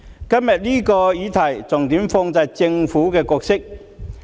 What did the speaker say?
今天這項議題，重點放在政府的角色。